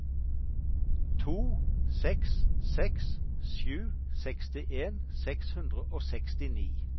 to seks seks sju sekstien seks hundre og sekstini